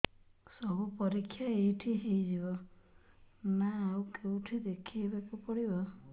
ସବୁ ପରୀକ୍ଷା ଏଇଠି ହେଇଯିବ ନା ଆଉ କଉଠି ଦେଖେଇ ବାକୁ ପଡ଼ିବ